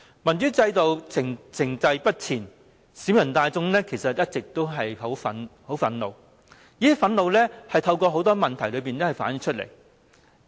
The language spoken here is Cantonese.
民主制度停滯不前，其實市民大眾一直都非常憤怒，而這種憤怒透過很多問題反映了出來。